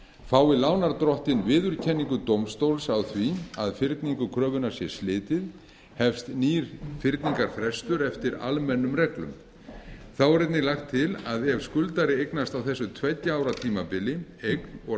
fái lánardrottinn viðurkenningu dómstóls á því að fyrningu kröfunnar sé slitið hefst nýr fyrningarfrestur eftir almennum reglum þá er einnig lagt til að ef skuldari eignast á þessu tveggja ára tímabili eign og